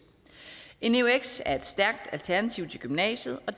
en eux er et stærkt alternativ til gymnasiet og